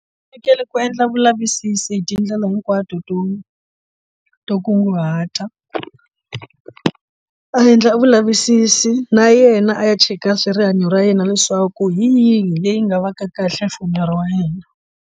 U fanekele ku endla vulavisisi hi tindlela hinkwato to to kunguhata a endla vulavisisi na yena a ya cheka swa rihanyo ra yena leswaku hi yihi leyi nga va kahle for miri wa yena.